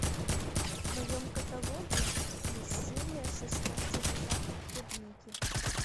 в твоем каталоге есть серия шестнадцать запах клубники